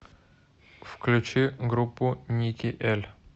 включи группу ники эль